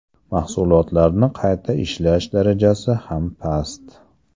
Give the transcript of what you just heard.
Mahsulotlarni qayta ishlash darajasi ham past.